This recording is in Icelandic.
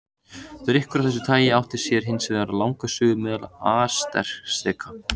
Drykkur af þessu tagi átti sér hins vegar langa sögu meðal Asteka.